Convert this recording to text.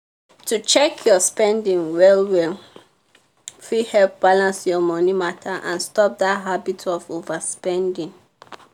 to check your spending well well fit help balance your money matter and stop that habit of overspending.